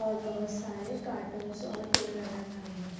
और बहुत सारे कार्टूनस और टूल नजर आ रहे हैं।